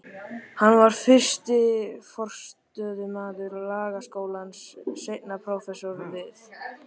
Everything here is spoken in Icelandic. Hann var fyrsti forstöðumaður Lagaskólans, seinna prófessor við